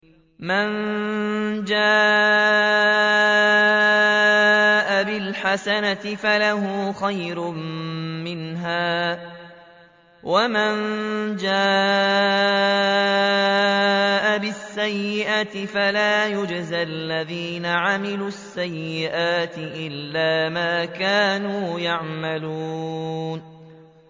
مَن جَاءَ بِالْحَسَنَةِ فَلَهُ خَيْرٌ مِّنْهَا ۖ وَمَن جَاءَ بِالسَّيِّئَةِ فَلَا يُجْزَى الَّذِينَ عَمِلُوا السَّيِّئَاتِ إِلَّا مَا كَانُوا يَعْمَلُونَ